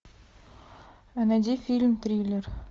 найди фильм триллер